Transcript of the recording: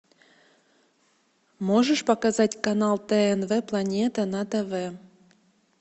можешь показать канал тнв планета на тв